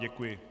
Děkuji.